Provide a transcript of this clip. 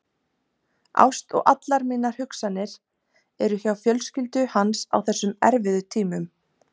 Ást og allar mínar hugsanir er hjá fjölskyldu hans á þessum erfiðu tímum.